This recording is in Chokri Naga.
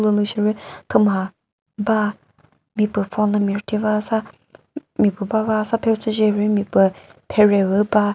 sheri thüma ba mipüh phone lü mi rüthiba sü mipüh bava sa ushiche rümi püh phere püh ba.